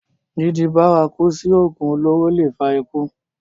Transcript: dídi bárakú sí ògùn olóró le è fa ikú